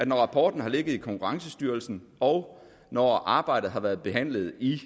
når rapporten har ligget i konkurrencestyrelsen og når arbejdet har været behandlet i